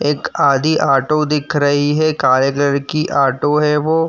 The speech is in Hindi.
एक आदि ऑटो दिख रही है। काले कलर की ऑटो है वो।